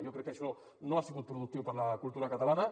jo crec que això no ha sigut productiu per a la cultura catalana